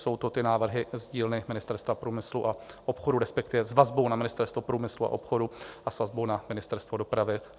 Jsou to ty návrhy z dílny Ministerstva průmyslu a obchodu, respektive s vazbou na Ministerstvo průmyslu a obchodu a s vazbou na Ministerstvo dopravy.